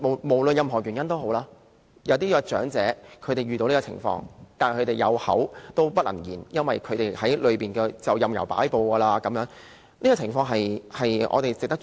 無論任何原因，有些長者遇到這種情況，有口不能言，在院舍裏面便任由擺布，這情況值得我們關注。